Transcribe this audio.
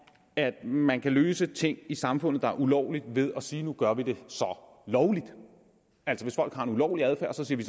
at man kan løse ting i samfundet der er ulovlige ved at sige at nu gør vi det lovligt altså hvis folk har en ulovlig adfærd siger vi